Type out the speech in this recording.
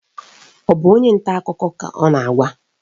Ọ bụ onye nta akụkọ ka ọ na-agwa?